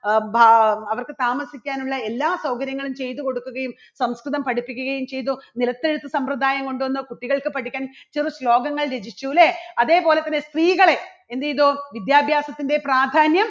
അ ബാ അവർക്ക് താമസിക്കാനുള്ള എല്ലാ സൗകര്യങ്ങളും ചെയ്തു കൊടുക്കുകയും സംസ്കൃതം പഠിപ്പിക്കുകയും ചെയ്തു. നിലത്തെഴുത്ത് സമ്പ്രദായം കൊണ്ടുവന്നു കുട്ടികൾക്ക് പഠിക്കാൻ ചെറു ശ്ലോകങ്ങൾ രചിച്ചു. അല്ലേ? അതേപോലെ തന്നെ സ്ത്രീകളെ എന്ത് ചെയ്തു വിദ്യാഭ്യാസത്തിൻറെ പ്രാധാന്യം